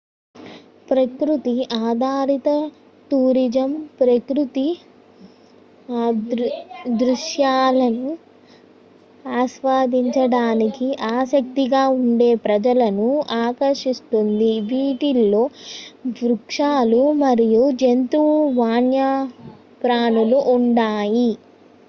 ప్రకృతి ఆధారిత టూరిజం ప్రకృతి దృశ్యాలను ఆస్వాదించడానికి ఆసక్తిగా ఉండే ప్రజలను ఆకర్షిస్తుంది వీటిలో వృక్షాలు మరియు జంతు వన్యప్రాణులు ఉన్నాయి